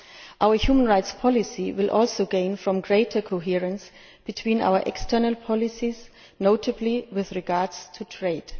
Our human rights policy will also gain from greater coherence between our external policies, notably with regard to trade.